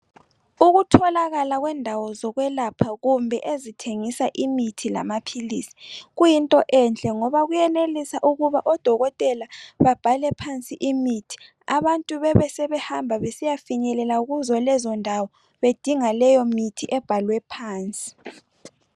Ukutholakala kwendawo zokwelapha kumbe ezithengisa imithi Lamaphilisi kuyinto enhle ngoba kuyenelisa ukuba odokotela babhale phansi imithi abantu Bebesebehamba besiya finyelela kuzo lezo ndawo besiya dinga imithi ebhaliwe phansi